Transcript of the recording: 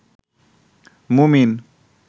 মুমিন